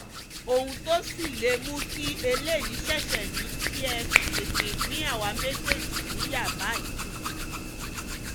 ohun tó sì lè mú kí eléyìí ṣèèṣe ni kẹ́ ẹ tètè pín àwa méjèèjì níyà báyìí